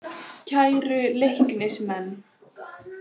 Kæru Leiknismenn.